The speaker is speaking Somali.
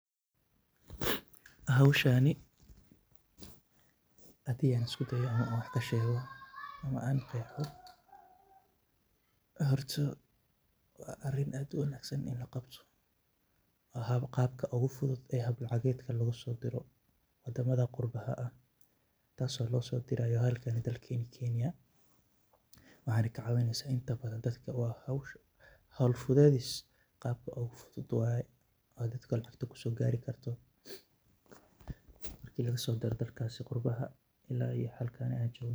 Howshaani hadi an iskudayo inan wax kashego ama an geho hortu wa ariin aad u wanagsan 8n lagabto, gabka ogufudud oo hab lacagedka lagusodiro, wadamada qurbaha taas oo losodirayo halkani dalkan kenya, waxana kuxiran dad cool fudedis gabka ogufudud waye oo dadka lacag kusogarikarto marki lagasodiro dalkasi qurbaha ila iyo dalkani kenya.